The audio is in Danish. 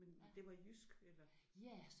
Ja men det var jysk? Eller?